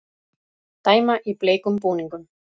Dæma í bleikum búningum